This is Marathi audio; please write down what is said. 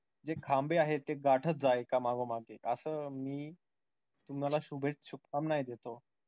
जे खांबे आहेत ते गाठत जा एका मागोमाग एक असं मी तुम्हाला शुभे शुभकामनाये देतो.